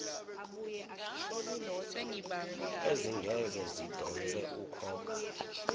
ezingeke zidonse ukhokha